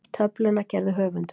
Töfluna gerði höfundur.